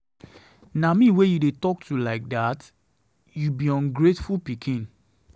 Na me wey you dey talk to like dat. You be ungrateful pikin.